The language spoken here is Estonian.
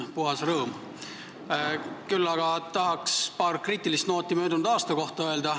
Küll aga on toon välja paar kriitilist nooti möödunud aasta kohta.